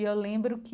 E eu lembro que